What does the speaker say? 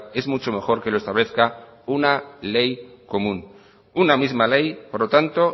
es mucho mejor que lo establezca una ley común una misma ley por lo tanto